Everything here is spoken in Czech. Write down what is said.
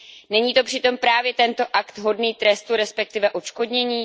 Není přitom právě tento akt hodný trestu, respektive odškodnění?